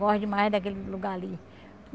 Gosto demais daquele lugar ali.